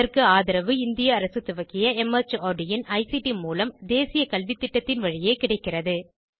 இதற்கு ஆதரவு இந்திய அரசு துவக்கிய மார்ட் இன் ஐசிடி மூலம் தேசிய கல்வித்திட்டத்தின் வழியே கிடைக்கிறது